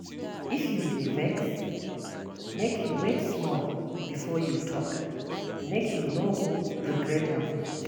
If you dey vex, make you wait small before you talk, make you no go regret am.